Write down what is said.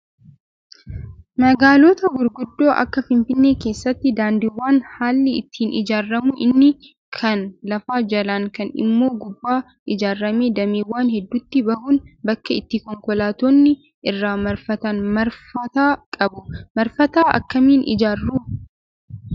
Magaalota gurguddoo akka Finfinnee keessatti daandiiwwan haalli ittiin ijaaramu inni kaan lafa jalaan kaan immoo gubbaan ijaaramee dameewwan hedduutti bahuun bakka itti konkolaattonni irra marfatan marfata qabu. Marfata akkamiin ijaaru?